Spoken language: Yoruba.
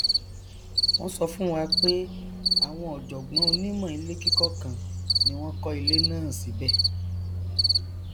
wọn sọ fún wa pé àwọn ọjọgbọn onímọ ilékíkọ kan ni wọn kọ ilé náà síbẹ